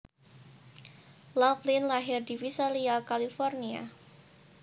Laughlin lahir di Visalia California